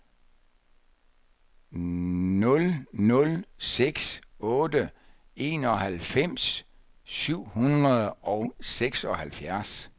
nul nul seks otte enoghalvfems syv hundrede og seksoghalvtreds